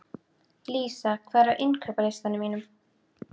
Lísa, hvað er á dagatalinu mínu í dag?